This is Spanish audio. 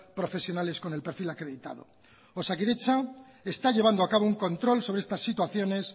profesionales con el perfil acreditado osakidetza está llevando a cabo un control sobre estas situaciones